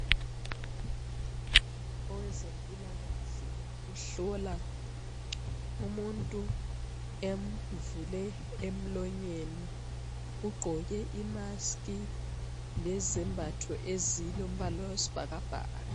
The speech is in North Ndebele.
Owezempilakahle uhlola umuntu emvule emlonyeni ugqoke imask lezembatho ezilombala wesibhakabhaka.